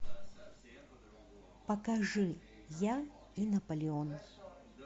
покажи я и наполеон